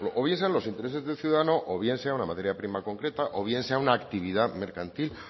o bien sean los intereses del ciudadano o bien sea una materia prima concreta o bien sea una actividad mercantil